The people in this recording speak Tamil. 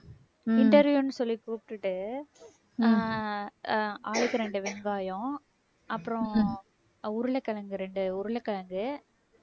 interview ன்னு சொல்லி கூப்பிட்டுட்டு அஹ் அஹ் ஆளுக்கு ரெண்டு வெங்காயம் அப்புறம் அஹ் உருளைக்கிழங்கு ரெண்டு உருளைக்கிழங்கு